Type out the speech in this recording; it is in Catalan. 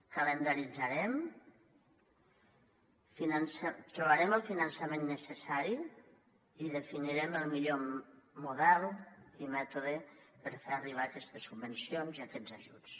calendaritzarem trobarem el finançament necessari i definirem el millor model i mètode per fer arribar aquestes subvencions i aquests ajuts